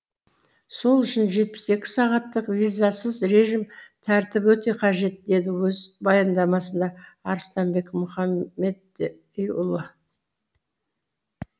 сол үшін жетпіс екі сағаттық визасыз режим тәртібі өте қажет деді өз баяндамасында арыстанбек мұхамедиұлы